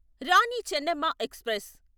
Rani Chennamma express